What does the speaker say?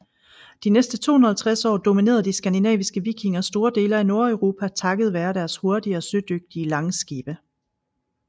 De næste 250 år dominerede de skandinaviske vikinger store dele af Nordeuropa takket være deres hurtige og sødygtige langskibe